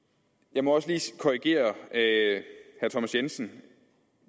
jeg må også lige korrigere herre thomas jensen